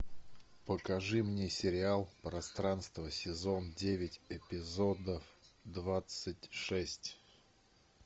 покажи мне сериал пространство сезон девять эпизод двадцать шесть